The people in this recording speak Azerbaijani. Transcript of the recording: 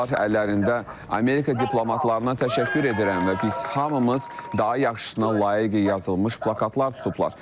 Onlar əllərində "Amerika diplomatlarına təşəkkür edirəm və biz hamımız daha yaxşısına layiqik" yazılmış plakatlar tutublar.